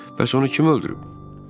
Bəs onu kim öldürüb?